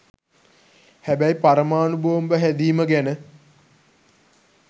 හැබැයි පරමාණු බෝම්බ හැදීම ගැන